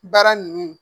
Baara ninnu